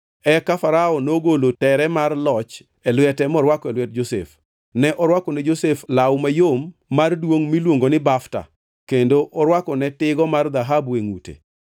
Eka Farao nogolo tere mar loch e lwete morwako e lwet Josef. Ne orwako ne Josef law mayom mar duongʼ miluongo ni bafta kendo orwako ne tigo mar dhahabu e ngʼute.